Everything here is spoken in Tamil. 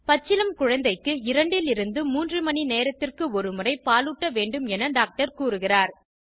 பச்சிளம் குழந்தைக்கு 2 லிருநது 3 மணிநேரத்திற்கு ஒருமுறை பாலூட்ட வேண்டும் என டாக்டர் கூறுகிறார்